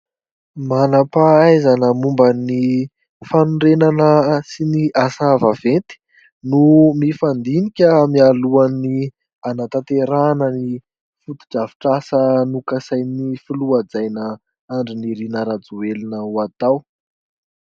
Manam-pahaizana momba ny fanorenana sy ny asa vaventy, no mifandinika mialohan'ny hanatanterahana ny fotodrafitrasa nokasain'ny filoha hajaina Andry Nirina Rajoelina ho atao.